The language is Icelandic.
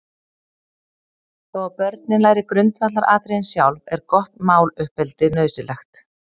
Þó að börnin læri grundvallaratriðin sjálf, er gott máluppeldi nauðsynlegt.